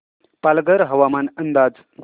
पालघर हवामान अंदाज